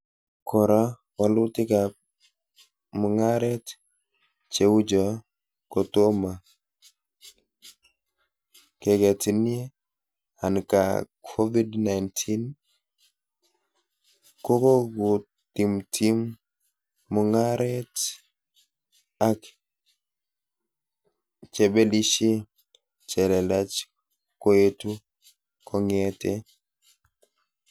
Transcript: Kora, walutikab mugaret cheucho kotoma keketinie, ankaa Covid-19 kokotimtim mugaret ak chebelishee chelelach koetu kongetee